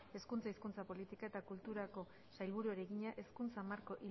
hezkuntza hizkuntza politika eta kulturako sailburuari egina hezkuntza marko